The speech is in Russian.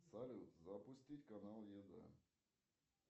салют запустить канал еда